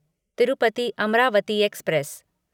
Tirupati Amaravati express